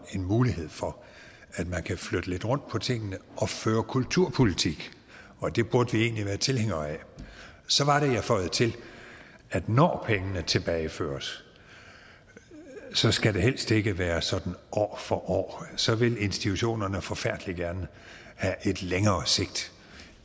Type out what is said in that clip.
en mulighed for at man kan flytte lidt rundt på tingene og føre kulturpolitik og det burde vi egentlig være tilhængere af så var det jeg føjede til at når pengene tilbageføres skal det helst ikke være sådan år for år så vil institutionerne forfærdelig gerne have et længere sigt